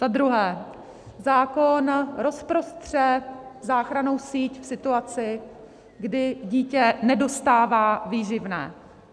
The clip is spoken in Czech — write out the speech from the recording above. Za druhé, zákon rozprostře záchrannou síť v situaci, kdy dítě nedostává výživné.